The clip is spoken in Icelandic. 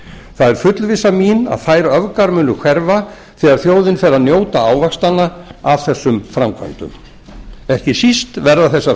það er fullvissa mín að þær öfgar muni hverfa þegar þjóðin fer að njóta ávaxtanna af þessum framkvæmdum ekki síst verða þessar